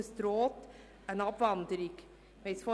Es droht eine Abwanderung dieser Firmen.